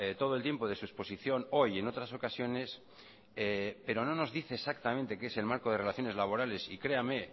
todo el tiempo de su exposición hoy y en otras ocasiones pero no nos dice exactamente qué es el marco de relaciones laborales y créame